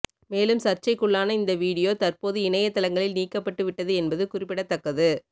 மேலும் சர்ச்சைக்குள்ளான இந்த வீடியோ தற்போது இணையதளங்களில் நீக்கப்பட்டுவிட்டது என்பது குறிப்பிடத்தக்கது